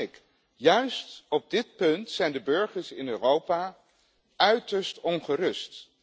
Maar hij heeft gelijk. Juist op dit punt zijn de burgers in Europa uiterst ongerust.